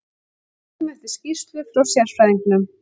Við bíðum eftir skýrslu frá sérfræðingnum.